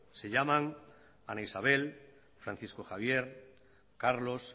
se llaman ana isabel francisco javier carlos